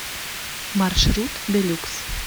маршрут делюкс